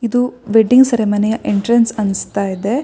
ಇದು weddings ceremony entrance ಅನ್ನಿಸ್ತಾ ಇದೆ.